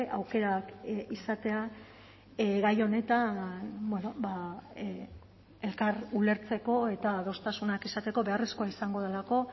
aukerak izatea gai honetan elkar ulertzeko eta adostasunak izateko beharrezkoa izango delako